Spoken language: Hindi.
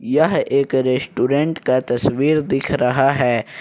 यह एक रेस्टोरेंट का तस्वीर दिख रहा है।